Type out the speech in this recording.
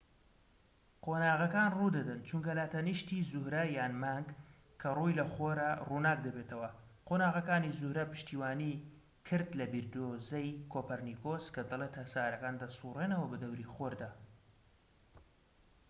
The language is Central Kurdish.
قۆناغەکان ڕوودەدەن چونکە لاتەنیشتی زوهرە یان مانگ کە ڕووی لە خۆرە ڕووناک دەبێتەوە. قۆناغەکانی زوهرە پشتیوانی کرد لە بیردۆزەی کۆپەرنیکۆس کە دەڵێت هەسارەکان دەسوڕێنەوە بەدەوری خۆردا